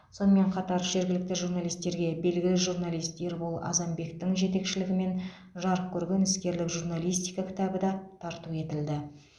сонымен қатар жергілікті журналистерге белгілі журналист ербол азанбектің жетекшілігімен жарық көрген іскерлік журналистика кітабы да тарту етілді